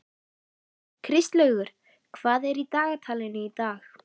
Kristlaugur, hvað er í dagatalinu í dag?